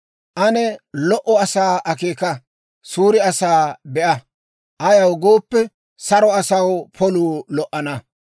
Ane lo"o asaa akeeka; suure asaa be'a; ayaw gooppe, saro asaw poluu lo"ana.